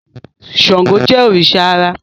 Ṣàngó Jé òrìṣà àrà